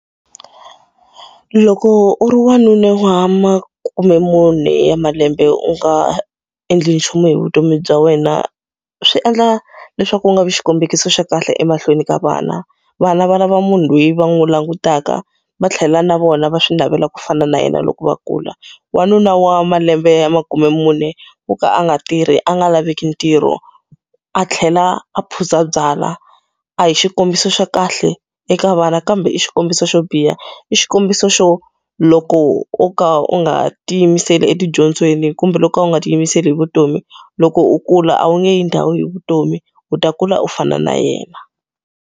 Loko u wanuna wa ma kumbe mune ya malembe u nga endli nchumu hi vutomi bya wena, swi endla leswaku u nga vi xikombiso xa kahle emahlweni ka vana. Vana va lava munhu loyi va n'wi langutaka va tlhela na vona va swi navela ku fana na yena loko va kula. Wanuna wa malembe ya makume mune wo ka a nga tirhi a nga laveki ntirho, a tlhela a phuza byalwa. A hi xikombiso xa kahle eka vana kambe i xikombiso xo biha. I xikombiso xo loko u ka u nga tiyimiseli etidyondzweni kumbe loko u nga tiyimiseli hi vutomi, loko u kula a wu nge yi ndhawu hi vutomi. U ta kula u fana na yena.